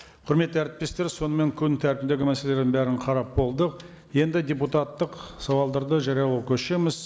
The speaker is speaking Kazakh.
құрметті әріптестер сонымен күн тәртібіндегі мәселелердің бәрін қарап болдық енді депутаттық сауалдарды жариялауға көшеміз